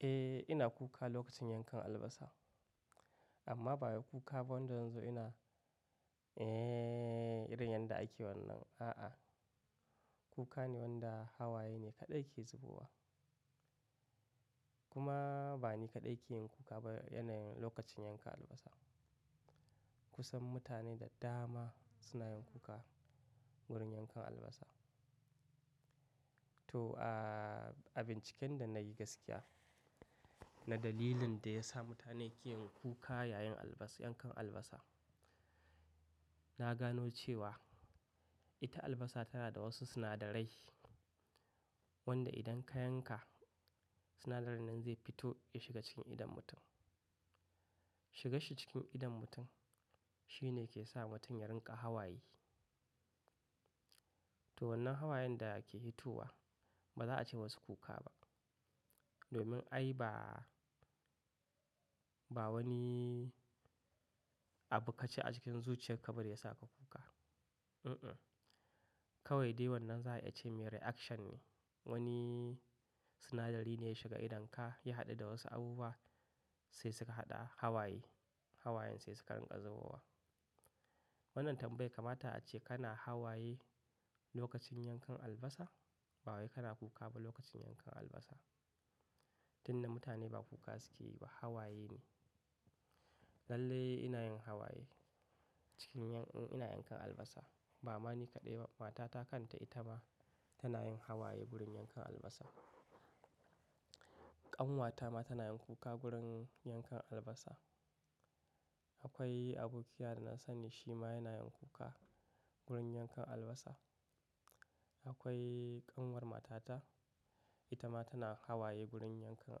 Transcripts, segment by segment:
Eh ina kuka lokacin yankan albasa amma ba wai kuka wanda zanzo ina, eh irin yanda ake wannan. A'a, kuka ne wanda hawaye ne kaɗai ke zubowa. Kuma ba ni kaɗai ke yin kuka ba yanayin lokacin yanka albasa. Kusan mutane da dama suna yin kuka wurin yankan albasa. To a binciken da na yi gaskiya na dalilin da ya sa mutane ke yin kuka yayin yankan albasa. Na gano cewa ita albasa tana da wasu sinadarai wanda idan ka yanka sinadarin nan zai fito ya shiga cikin idon mutum. Shigan shi cikin idon mutum shine ke sa mutum ya rinƙa hawaye. To wannan hawayen da ke hitowa ba za a ce wasu kuka ba domin ai ba wani abu kaji a cikin zuciyar ka ba da ya sa ka kuka. Kawai dai wannan za a iya ce mai reaction ne. Wani sinadari ne ya shiga idonka ya haɗu da wasu abubuwa sai suka haɗa hawaye. Hawayen sai suka rinƙa zubowa. Wannan tambaya kama ta yayi ta a ce kana hawaye lokacin yankan albasa? Ba wai kana kuka ba lokacin yankan albasa. Tun da mutane ba kuka suke yi ba hawaye ne. Lallai ina yin hawaye in ins yankan albasa. Ba ma ni kaɗai ba, matata kan ta ita ma tana yin hawaye wurin yankan albasa. Ƙanwata ma tana yin kuka wurin yankan albasa. Akwai abokina da na sani shi ma yana yin kuka wurin yankan albasa. Akwai ƙanwar matata ita ma tana hawaye wurin yankan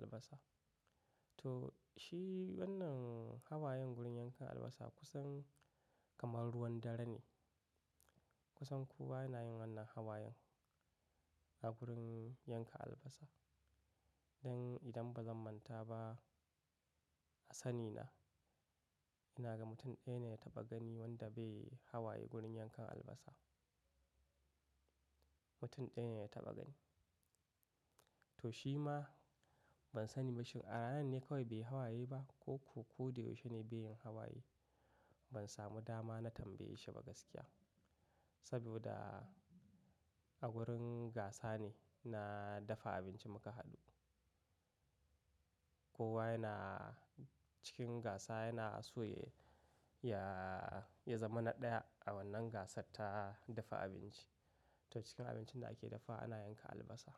albasa. To shi wannan hawayen wurin yankan albasa kusan kamar ruwan dare ne. Kusan kowa yana yin wannan hawayen a wurin yanka albasa. Dan idan ba zan manta ba, a sani na ina ga mutum ɗaya ne na taɓa gani wanda bai hawaye wurin yankan albasa. Mutum ɗaya ne ya taɓa gani. To shi ma ban sani ba shin a ranan ne kawai bai yi hawaye ba ko ko koda yaushe ne bai yin hawaye. Ban samu dama na tambaye shi ba gaskiya. Saboda a wurin gasa ne na dafa abinci muka haɗu. Kowa yana cikin gasa yana so ya zama na ɗaya a wannan gasar ta dafa abinci. To cikin abincin da ake dafa ana yanka albasa.